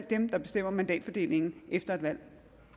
dem der bestemmer mandatfordelingen efter et valg